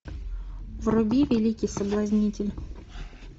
вруби великий соблазнитель